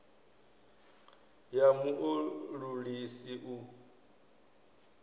ya mu o ulusi u